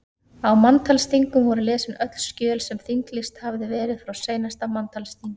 Á manntalsþingum voru lesin öll skjöl sem þinglýst hafði verið frá seinasta manntalsþingi.